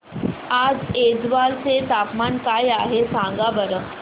आज ऐझवाल चे तापमान काय आहे सांगा बरं